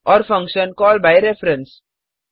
और function call by reference